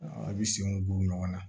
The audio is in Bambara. A bɛ senw don ɲɔgɔn na